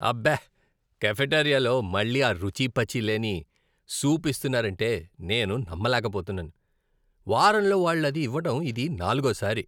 అబ్బే, కాఫెటీరియాలో మళ్ళీ ఆ రుచిపచి లేని సూప్ ఇస్తున్నారంటే నేను నమ్మలేకపోతున్నాను. వారంలో వాళ్ళు అది ఇవ్వడం ఇది నాలుగోసారి.